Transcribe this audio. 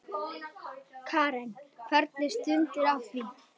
Karen: Hvernig stendur á því?